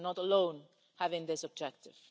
We are not alone in having this objective.